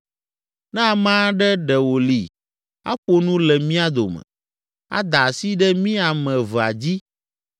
Ne ame aɖe ɖe wòli aƒo nu le mía dome, ada asi ɖe mí ame evea dzi